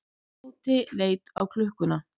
Tóti leit á klukkuna.